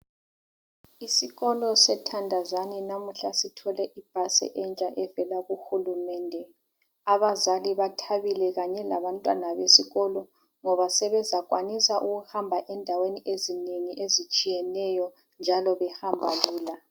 isikolo se thandazani namuhla sithole ibhasi entsha evela kuhulumende abazali bathabile kanye labantwana besikolo ngoba sebezakwanisa ukuhamba endaweni ezinengi ezitshiyeneyo njalo behamba lula